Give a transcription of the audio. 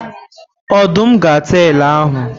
Odum ga ata ele ahụ.